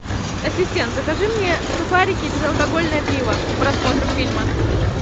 ассистент закажи мне сухарики и безалкогольное пиво к просмотру фильма